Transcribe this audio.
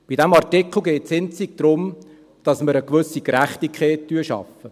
Bei diesem Artikel geht es einzig darum, dass wir eine gewisse Gerechtigkeit schaffen.